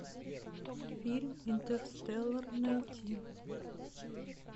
фильм интерстеллар найти